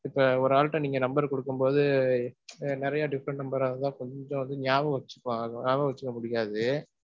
இப்ப ஒரு ஆள்ட்ட number ரு குடுக்கும்போது நிறைய different number ஆ இருக்கும், கொஞ்சம் வந்து ஞாபகம் வச்சிப்பாங்க, ஞாபகம் வச்சிக்க முடியாது.